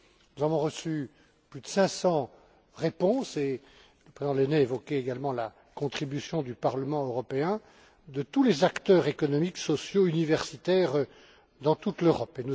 Nous avons reçu plus de 500 réponses et le président Lehne a évoqué également la contribution du Parlement européen de tous les acteurs économiques, sociaux et universitaires dans toute l'Europe.